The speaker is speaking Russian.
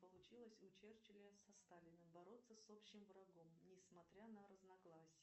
получилось у черчилля со сталиным бороться с общим врагом несмотря на разногласия